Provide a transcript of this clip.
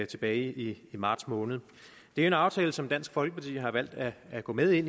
tilbage i marts måned det er en aftale som dansk folkeparti har valgt at at gå med